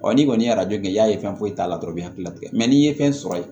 n'i kɔni ye kɛ i y'a ye fɛn foyi t'a la dɔrɔn i ti kila ka n'i ye fɛn sɔrɔ yen